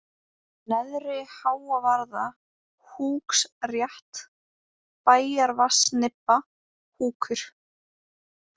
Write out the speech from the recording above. Neðri-Háavarða, Húksrétt, Bæjarvatnsnibba, Húkur